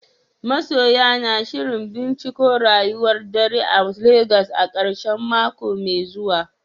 Masoya na shirin binciko rayuwar dare a Legas a karshen mako mai zuwa.